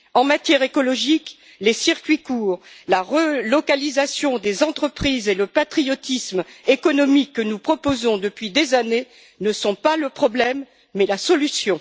En matière écologique, les circuits courts, la relocalisation des entreprises et le patriotisme économique, que nous proposons depuis des années, ne sont pas le problème, mais la solution.